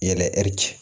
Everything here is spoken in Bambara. Yɛrɛ ɛri ci